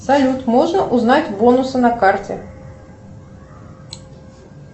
салют можно узнать бонусы на карте